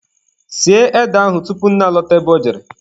Sie ede ahụ tupu nne alọta ebe ọ jere.